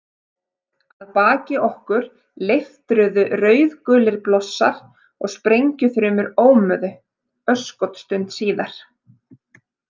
Að baki okkur leiftruðu rauðgulir blossar og sprengjuþrumur ómuðu örskotsstund síðar.